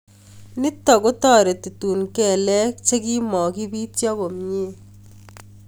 Nitok kotareti tun kelek che kime kibityo komnye